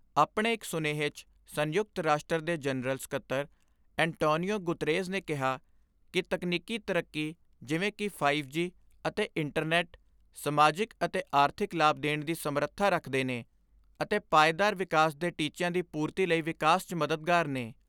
ਆਪਣੇ ਇਕ ਸੁਨੇਹੇ 'ਚ ਸੰਯੁਕਤ ਰਾਸ਼ਟਰ ਦੇ ਜਨਰਲ ਸਕੱਤਰ ਐਨਟਾਨਿਓ ਗੁਤਰੇਸ ਨੇ ਕਿਹਾ ਕਿ ਤਕਨੀਕੀ ਤਰੱਕੀ ਜਿਵੇਂ ਕਿ ਫਾਈਵ ਜੀ ਅਤੇ ਇੰਟਰਨੈੱਟ, ਸਮਾਜਿਕ ਅਤੇ ਆਰਥਿਕ ਲਾਭ ਦੇਣ ਦੀ ਸਮਰਥਾ ਰੱਖਦੇ ਨੇ ਅਤੇ ਪਾਏਦਾਰ ਵਿਕਾਸ ਦੇ ਟੀਚਿਆਂ ਦੀ ਪੂਰਤੀ ਲਈ ਵਿਕਾਸ 'ਚ ਮਦਦਗਾਰ ਨੇ।